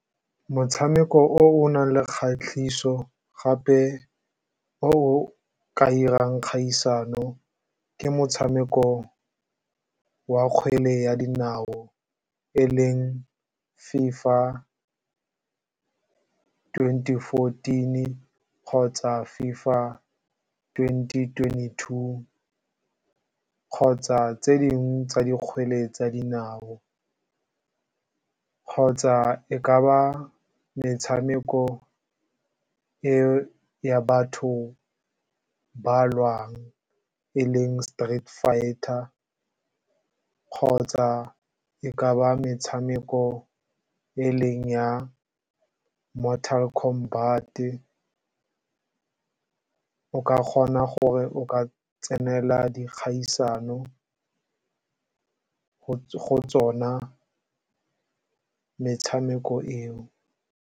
Motshameko o o nang le kgatlhiso gape o o ka dirang kgaisano ke motshameko wa kgwele ya dinao e leng FIFA twenty fourteen-i, kgotsa FIFA twenty twenty-two, kgotsa tse dingwe tsa dikgwele tsa dinao, kgotsa e ka ba metshameko ya batho ba lwang e leng street fighter, kgotsa e ka ba metshameko e leng ya Mortal Kombat-e, o ka kgona gore o ka tsenela dikgaisano go tsona metshameko eo.